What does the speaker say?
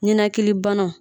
Ninakili banaw